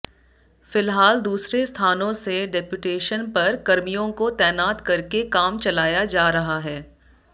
फिलहाल दूसरे स्थानों से डेपुटेशन पर कर्मियों को तैनात करके काम चलाया जा रहा है